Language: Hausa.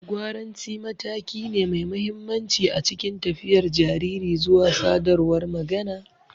Gwaranci mataki ne mai mahimmanci a cikin tafiyar jariri zuwa sadarwar magana.